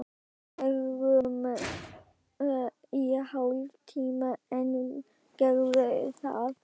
Verum í hálftíma enn, gerðu það.